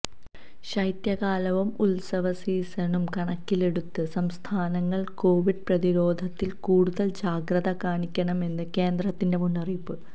ശൈത്യകാലവും ഉത്സവസീസണും കണക്കിലെടുത്ത് സംസ്ഥാനങ്ങൾ കൊവിഡ് പ്രതിരോധത്തിൽ കൂടുതൽ ജാഗ്രത കാണിക്കണമെന്ന് കേന്ദ്രത്തിന്റെ മുന്നറിയിപ്പ്